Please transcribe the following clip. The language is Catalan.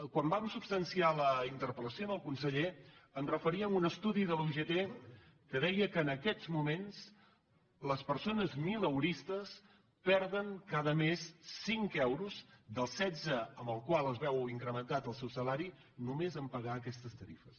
quan vam substanciar la interpel·lació al conseller em referia a un estudi de la ugt que deia que en aquests moments les persones mileuristes perden cada mes cinc euros dels setze amb els quals es veu incrementat el seu salari només a pagar aquestes tarifes